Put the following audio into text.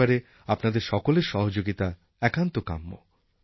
এই ব্যাপারে আপনাদের সকলের সহযোগিতা একান্ত কাম্য